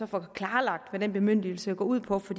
får klarlagt hvad den bemyndigelse går ud på for